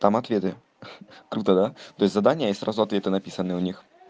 там ответы круто да то есть задания и сразу ответы написаны у них